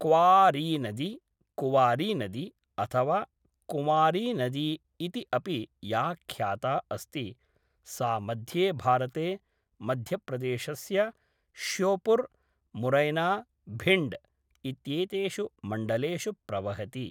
क्वारीनदी, कुवारीनदी अथवा कुँवारीनदी इति अपि या ख्याता अस्ति, सा मध्ये भारते मध्यप्रदेशस्य श्योपुर्, मुरैना, भिण्ड् इत्येतेषु मण्डलेषु प्रवहति।